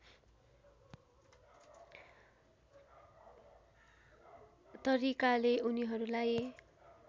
तरिकाले उनीहरूलाई